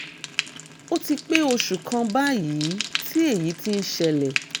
ó ti pé oṣù kan báyìí tí èyí ti ń ṣẹlẹ̀